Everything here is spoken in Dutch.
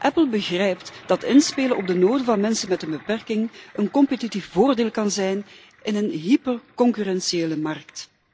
Apple begrijpt dat inspelen op de behoeften van mensen met een beperking een competitief voordeel kan zijn in een hyperconcurrentiële markt.